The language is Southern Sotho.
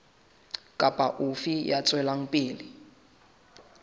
kapa ofe ya tswelang pele